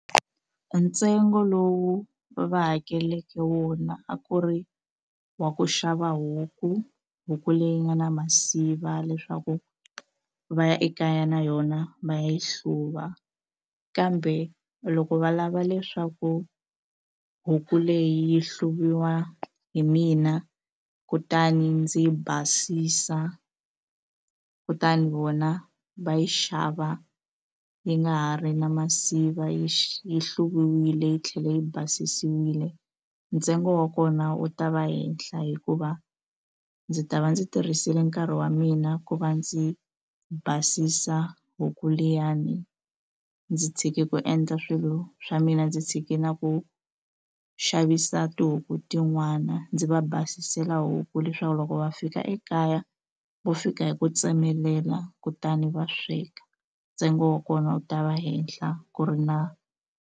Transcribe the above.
Ntsengo lowu va hakeleke wona a ku ri wa ku xava huku huku leyi nga na masiva leswaku va ya ekaya na yona va yi hluva kambe loko va lava leswaku huku leyi yi hluviwa hi mina kutani ndzi yi basisa kutani vona va yi xava yi nga ha ri na masiva yi yi hluviwile yi tlhela yi basisiwile ntsengo wa kona wu ta va henhla hikuva ndzi ta va ndzi tirhisile nkarhi wa mina ku va ndzi basisa huku liyani ndzi tshike ku endla swilo swa mina ndzi tshike na ku xavisa tihuku tin'wana ndzi va basisela huku leswaku loko va fika ekaya vo fika hi ku tsemelela kutani va sweka ntsengo wa kona wu ta va henhla ku ri na.